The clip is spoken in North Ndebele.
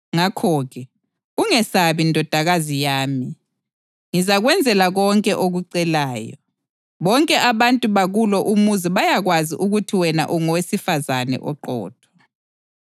Ngakho-ke, ungesabi ndodakazi yami. Ngizakwenzela konke okucelayo. Bonke abantu bakulo umuzi bayakwazi ukuthi wena ungowesifazane oqotho.